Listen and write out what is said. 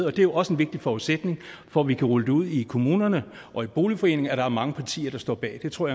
er jo også en vigtig forudsætning for at vi kan rulle det ud i kommunerne og i boligforeningerne er mange partier der står bag det tror